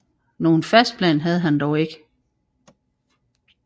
Nogen fast plan havde han dog ikke